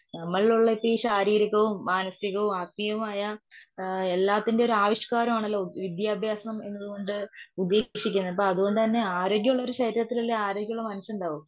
ശാരീരികവും, മാനസികവും, ആത്മീയവുമായ എല്ലാത്തിന്റെയുമൊരു ആവിഷ്കാരമാണല്ലോ വിത്യാ ഭ്യാസം എന്നതുകൊണ്ട് ഉദേശിക്കുന്നത് അപ്പൊ അതുകൊണ്ടു തന്നെ ആരോഗ്യമുള്ള ശരീരത്തിലല്ലേ ആരോഗ്യമുള്ള മനസ്സുണ്ടാവു.